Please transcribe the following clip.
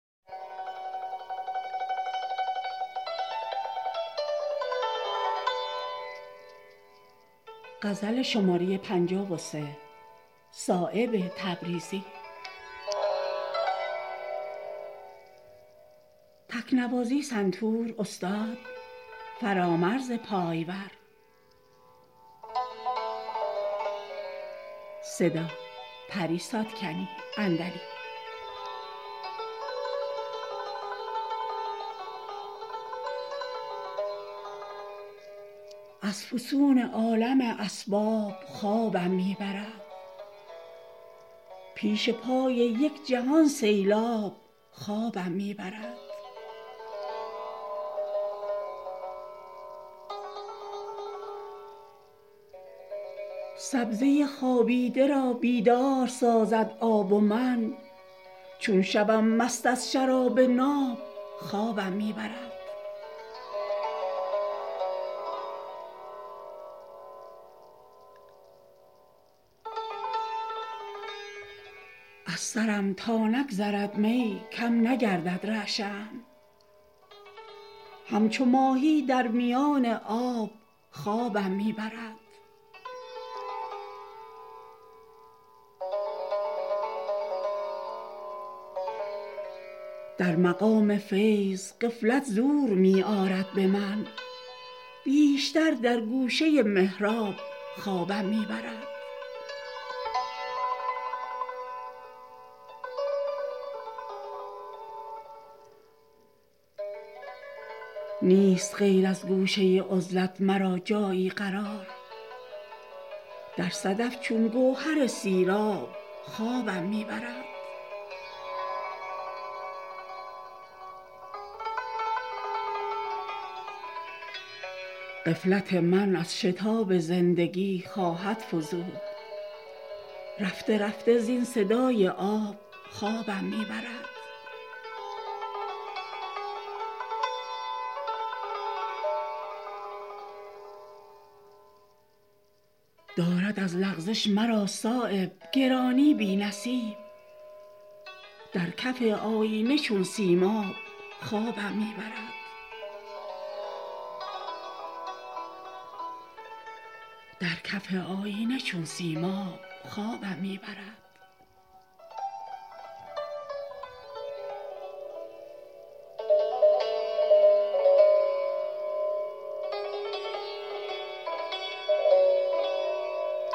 از فسون عالم اسباب خوابم می برد پیش پای یک جهان سیلاب خوابم می برد سبزه خوابیده را بیدار سازد آب و من چون شوم مست از شراب ناب خوابم می برد از سرم تا نگذرد می کم نگردد رعشه ام همچو ماهی در میان آب خوابم می برد در مقام فیض غفلت زور می آرد به من بیشتر در گوشه محراب خوابم می برد نیست غیر از گوشه عزلت مرا جایی قرار در صدف چون گوهر سیراب خوابم می برد من که چون جوهر به روی تیغ دارم پیچ و تاب کی به روی سبزه سیراب خوابم می برد پیش ازین بر روی خاک تیره آرامم نبود این زمان بر بستر سنجاب خوابم می برد غفلت من از شتاب زندگی خواهد فزود رفته رفته زین صدای آب خوابم می برد اضطراب راهرو را قرب منزل کم کند در کنار خنجر قصاب خوابم می برد در حریم وصل حیرت می کند غافل مرا در چمن چون نرگس شاداب خوابم می برد چون کباب در نمک خوابیده شور من به جاست گاه گاهی گر شب مهتاب خوابم می برد دارد از لغزش مرا صایب گرانی بی نصیب در کف آیینه چون سیماب خوابم می برد